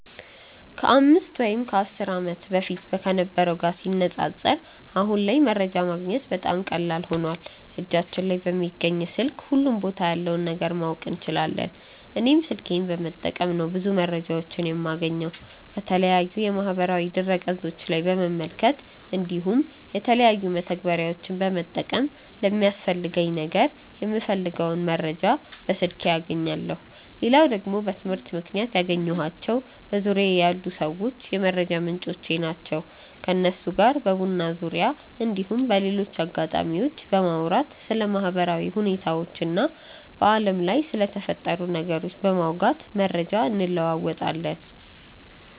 ከ 5 ወይም 10 ዓመት በፊት ከነበረው ጋር ሲነጻጸር አሁን ላይ መረጃ ማግኘት በጣም ቀላል ሆኖዋል እጃችን ላይ በሚገኝ ስልክ ሁሉም ቦታ ያለውን ነገር ማወቅ እንችላለን። እኔም ስልኬን በመጠቀም ነው ብዙ መረጃዎችን የማገኘው። ከተለያዩ የማህበራዊ ድረ ገፆች ላይ በመመልከት እንዲሁም የተለያዩ መተግበሪያዎችን በመጠቀም ለሚያስፈልገኝ ነገር የምፈልገውን መረጃ በስልኬ አገኛለው። ሌላው ደግሞ በትምህርት ምክንያት ያገኘኳቸው በዙርያዬ ያሉ ሰዎች የመረጃ ምንጮቼ ናቸው። ከነሱ ጋር በቡና ዙርያ እንዲሁም በሌሎች አጋጣሚዎች በማውራት ስለ ማህበራዊ ሁኔታዎች እና በአለም ላይ ስለተፈጠሩ ነገሮች በማውጋት መረጃ እንለወጣለን።